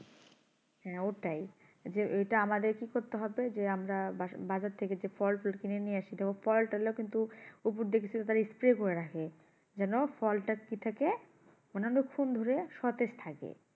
হ্যাঁ ওটাই যে ওটা আমাদের কি করতে হবে যে আমরা বাসো~বাজার থেকে এজে ফল পের কিনে নিয়ে আসি তো ওই ফল টলে কিন্তু উপর দেখে তারা spray করে রাখে যেন ফলটা কি থাকে মানে অনেক খুন ধরে সতেজ থাকে